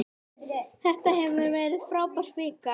Þetta hefur verið frábær vika.